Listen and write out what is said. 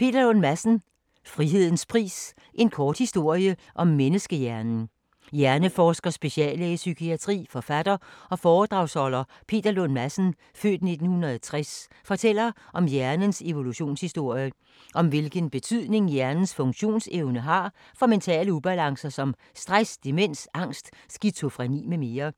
Lund Madsen, Peter: Frihedens pris - en kort historie om menneskehjernen Hjerneforsker, speciallæge i psykiatri, forfatter og foredragsholder Peter Lund Madsen (f. 1960) fortæller om hjernens evolutionshistorie, og om hvilken betydning hjernens funktionsevne har for mentale ubalancer som stress, demens, angst, skizofreni mm.